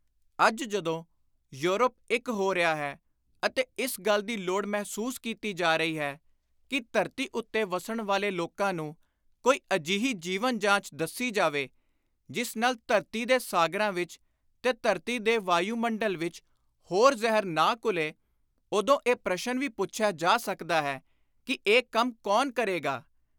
ਅੱਜ ਜਦੋਂ ਯੋਰਪ ਇਕ ਹੋ ਰਿਹਾ ਹੈ ਅਤੇ ਇਸ ਗੱਲ ਦੀ ਲੋੜ ਮਹਿਸੂਸ ਕੀਤੀ ਜਾ ਰਹੀ ਹੈ ਕਿ ਧਰਤੀ ਉੱਤੇ ਵੱਸਣ ਵਾਲੇ ਲੋਕਾਂ ਨੂੰ ਕੋਈ ਅਜਿਹੀ ਜੀਵਨ-ਜਾਚ ਦੱਸੀ ਜਾਵੇ ਜਿਸ ਨਾਲ ਧਰਤੀ ਦੇ ਸਾਗਰਾਂ ਵਿਚ ਤੇ ਧਰਤੀ ਦੇ ਵਾਯੁਮੰਡਲ ਵਿਚ ਹੋਰ ਜ਼ਹਿਰ ਨਾ ਘੁਲੇ, ਉਦੋਂ ਇਹ ਪ੍ਰਸ਼ਨ ਵੀ ਪੁੱਛਿਆ ਜਾ ਸਕਦਾ ਹੈ ਕਿ “ਇਹ ਕੰਮ ਕੌਣ ਕਰੇਗਾ ?”